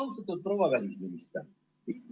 Austatud proua välisminister!